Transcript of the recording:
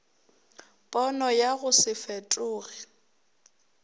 pono ya go se fetoge